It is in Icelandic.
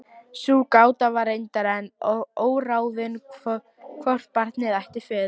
Sú gáta var reyndar enn óráðin hvort barnið ætti föður.